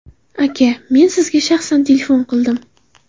Aka, men sizga shaxsan telefon qildim.